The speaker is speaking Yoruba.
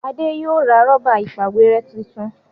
Ade yóò ra Rọ́bà ìpàwérẹ́ títún